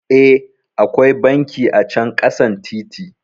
Eh, akwai banki acan ƙasan titi